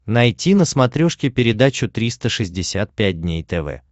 найти на смотрешке передачу триста шестьдесят пять дней тв